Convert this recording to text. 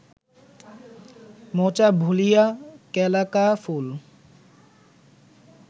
মোচা ভুলিয়া কেলা কা ফুল